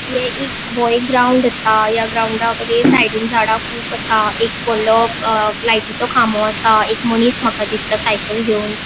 ये एक वो एक ग्राउन्ड आसा ग्राउन्ड कड़े साइडीन झाड़ कुब आसा एक वोडलों लायटीचो खामो आसा एक मनिस माका दिसता साइकल घेवन.